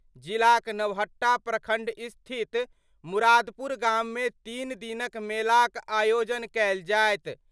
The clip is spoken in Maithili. जिलाक नवहट्टा प्रखंड स्थित मुरादपुर गाम मे तीन दिनक मेला क आयोजन कयल जायत।